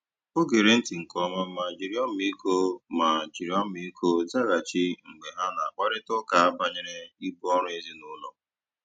O gèrè ntị́ nkè ọ̀ma mà jìrì ọ́mị́íkọ́ mà jìrì ọ́mị́íkọ́ zághachì mgbe ha na-àkpárị̀ta ụ́ka bànyèrè ìbù ọ́rụ́ èzìnílọ́.